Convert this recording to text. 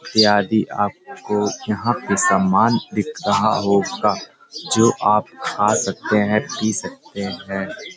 ये आदि आपको यहाँ पे सामान दिख रहा होगा जो आप खा सकते हैंपी सकते हैं।